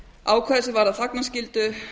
ákvæði sem varða þagnarskyldu